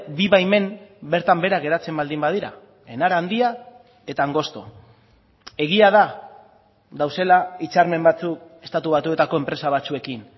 bi baimen bertan behera geratzen baldin badira enara handia eta angosto egia da daudela hitzarmen batzuk estatu batuetako enpresa batzuekin